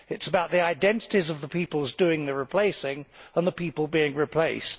It is about the identities of the peoples doing the replacing and the people being replaced.